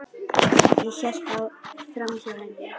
Ég hélt framhjá henni.